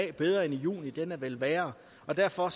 er bedre i juni den er vel værre og derfor